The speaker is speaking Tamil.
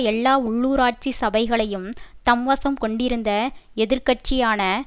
எல்லா உள்ளூராட்சி சபைகளையும் தம்வசம் கொண்டிருந்த எதிர் கட்சியான